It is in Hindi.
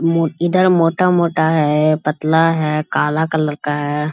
इधर मोटा-मोटा है पतला है काला कलर का है।